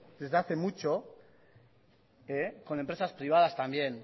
desde hace mucho con empresas privadas también